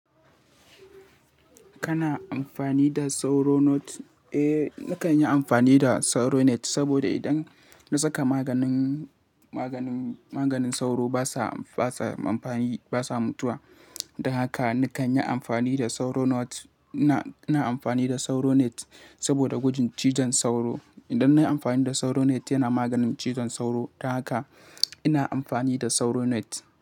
Kana amfani da sauro net? Eh, nakan yi amfani da sauro net saboda idan na saka maganin, maganin, maganin sauro basa, basa amfani, basa mutuwa. Don haka nakan yi amfani da sauro not. Ina, ina amfani da sauro net saboda gujin cizon sauro. Idan na yi amfani da sauro net yana maganin cizon sauro. Don haka ina amfani da sauro net.